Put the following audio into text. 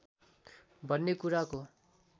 भन्ने कुराको